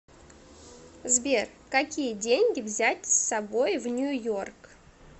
сбер какие деньги взять с собой в нью йорк